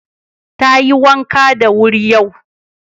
Tayi wanka da wuri yau.